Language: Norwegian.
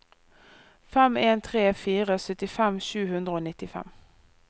fem en tre fire syttifem sju hundre og nittifem